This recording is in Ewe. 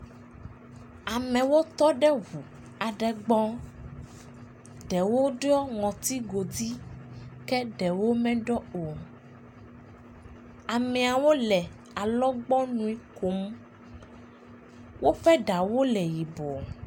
Amewo tɔ ɖe ŋu aɖe gbɔ. Ɖewo ɖɔ ŋutigodui ke ɖewo meɖɔ o. Ameawo le alɔgbɔnui kom. Woƒe ɖawo le yibɔ.